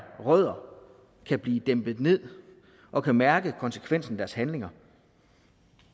rødder kan blive dæmpet ned og kan mærke konsekvensen af deres handlinger